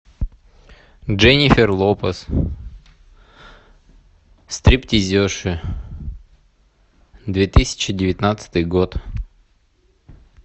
дженнифер лопес стриптизерши две тысячи девятнадцатый год